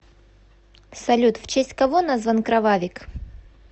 салют в честь кого назван кровавик